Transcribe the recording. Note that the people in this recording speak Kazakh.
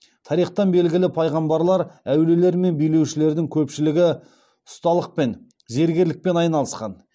тарихтан белгілі пайғамбарлар әулиелер мен билеушілердің көпшілігі ұсталықпен зергерлікпен айналысқан